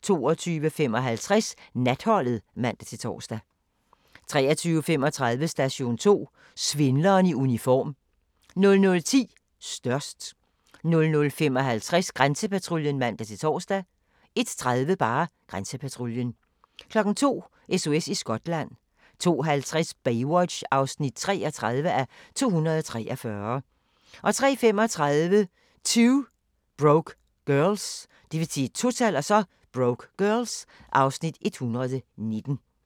22:55: Natholdet (man-tor) 23:35: Station 2: Svindleren i uniform 00:10: Størst 00:55: Grænsepatruljen (man-tor) 01:30: Grænsepatruljen 02:00: SOS i Skotland 02:50: Baywatch (33:243) 03:35: 2 Broke Girls (Afs. 119)